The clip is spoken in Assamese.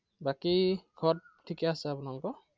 বাকী, ঘৰত ঠিকে আছে আপোনালোকৰ?